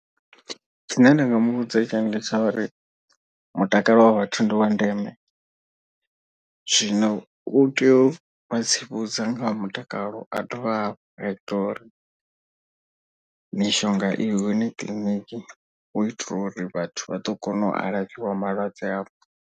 Tshine nda nga muvhudza tshone ndi tsha uri mutakalo wa vhathu ndi wa ndeme. Zwino u tea u vha tsivhudza nga ha mutakalo a dovhe hafhu a ita uri mishonga i hone kiḽiniki. U itela uri vhathu vha ḓo kona u alafhiwa malwadze avho.